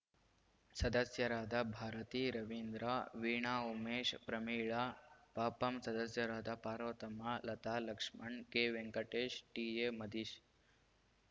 ಸದಸ್ಯರಾದ ಭಾರತಿ ರವೀಂದ್ರ ವೀಣಾ ಉಮೇಶ್‌ ಪ್ರಮೀಳಾ ಪಪಂ ಸದಸ್ಯರಾದ ಪಾರ್ವತಮ್ಮ ಲತಾ ಲಕ್ಷ್ಮಣ್‌ ಕೆವೆಂಕಟೇಶ್‌ ಟಿಎ ಮದೀಶ್‌